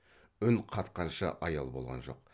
үн қатқанша аял болған жоқ